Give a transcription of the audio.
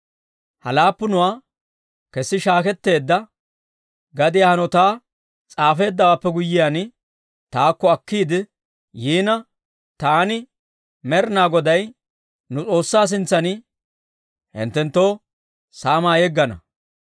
Ha laappunuwaa kesi shaaketteedda gadiyaa hanotaa s'aafeeddawaappe guyyiyaan, taakko akkiide yiina taani Med'ina Godaa nu S'oossaa sintsan hinttenttoo saamaa yeggana.